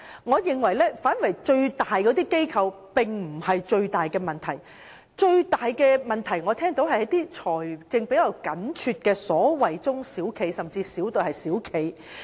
我認為大型機構並非最大的問題所在，面對最大問題的是財政比較緊絀的中小企甚至微企。